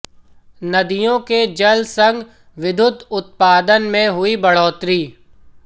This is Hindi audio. नदियों के जल संग विद्युत उत्पादन में हुई बढ़ोतरी